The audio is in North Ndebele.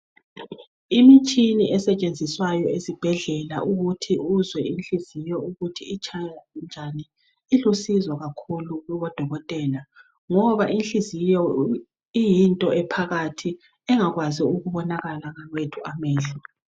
Imitshina esetshenziswayo esibhedlela ukuthi uzwe inhliziyo ukuthi itshaya njani, ilusizo kakhulu kubodokotela ngoba inhliziyo iyinto ephakathi engakwazi ukubonakala ngawethu amehlo.